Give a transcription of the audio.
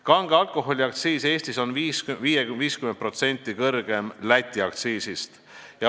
Kange alkoholi aktsiis on Eestis 50% Läti aktsiisist kõrgem.